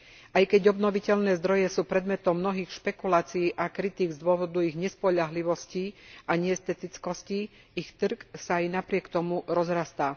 Aj keď obnoviteľné zdroje sú predmetom mnohých špekulácií a kritík z dôvodu ich nespoľahlivosti a neestetickosti, ich trh sa aj napriek tomu rozrastá.